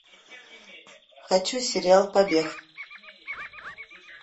хочу сериал побег